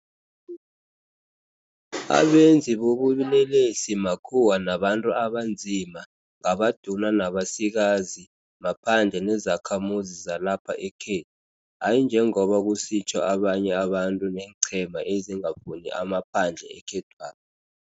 Abenzi bobulelesi makhuwa nabantu abanzima, ngabaduna nabasikazi, maphandle nezakhamuzi zalapha ekhethu, hayi njengoba kusitjho abanye abantu neenqhema ezingafuni amaphandle ekhethwapha.